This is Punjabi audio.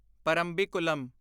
ਪਰਮਬੀਕੁਲਮ